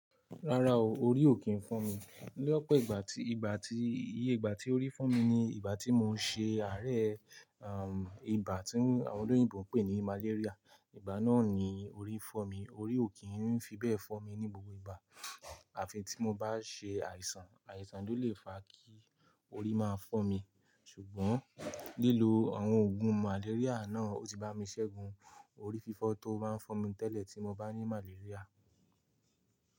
Rárá o, orí ò kí ń fọ́ mi. Ní ọ̀pọ̀ ìgbà tí, ìgbà tí, iye ìgbà tí orí fọ́ mi ni ìgbà tí mo ń ṣe àárẹ̀, um, ìbá tí àwọn olóyìnbo ń pè ní "malaria". Ìgbà náà ni orí fọ́ mi. Orí ò kí ń fi bẹ́ẹ̀ fọ́ mi ní gbogbo ìgbà. Àfi tí mo bá ṣe àìsàn, àìsàn lo lè fa kí orí máa fọ́ mi. Ṣùgbọ́n lílo àwọn òògùn "malaria" náà ó ti bá mi ṣẹ́gun orí fífọ́ tó máa ń fọ́ mi tẹ́lẹ̀ tí mo bá ní "malaria".